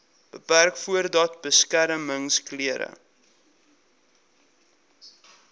beperk voordat beskermingsklere